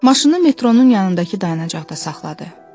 Maşını metronun yanındakı dayanacaqda saxladı.